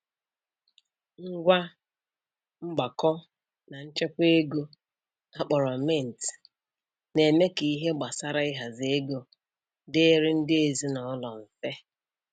Ngwa mgbakọ na nchekwa ego a kpọrọ mint na-eme ka ihe gbasara ịhazi ego dịịrị ndị ezinụlọ mfe